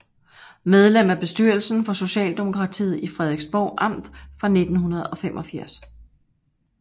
Medlem af bestyrelsen for Socialdemokratiet i Frederiksborg Amt fra 1985